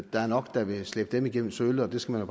der er nok der vil slæbe dem igennem sølet og det skal man